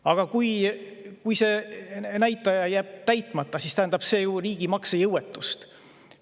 Aga kui see näitaja jääb, siis tähendab see ju riigi maksejõuetust.